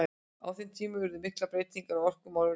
Á þeim tíma urðu miklar breytingar á orkumálum Reykvíkinga.